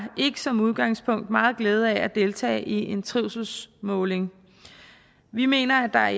som udgangspunkt ikke meget glæde af at deltage i en trivselsmåling vi mener at der